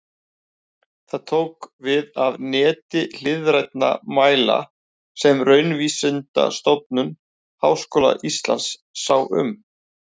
Það tók við af neti hliðrænna mæla sem Raunvísindastofnun Háskóla Íslands sá um.